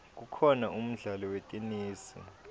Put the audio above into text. kukhona umdlalo wetenesi